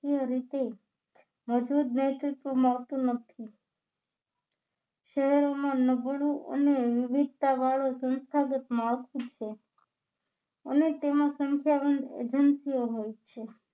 એ રીતે શહેરોમાં નબળું અને યુધિષ્ઠા વાળુ સંસ્થાગત માળખું છે અને તેમાં સંસ્થાગત એજન્સીઓ હોય છે